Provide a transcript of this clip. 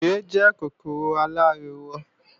Ere jẹ́ kòkòrò aláriwo